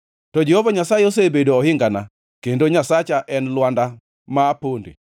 To Jehova Nyasaye osebedo ohingana, kendo Nyasacha en lwanda ma aponde.